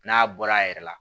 N'a bɔra a yɛrɛ la